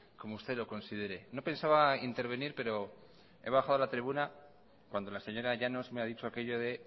como usted lo considere no pensaba intervenir pero he bajado a la tribuna cuando la señora llanos me ha dicho aquello de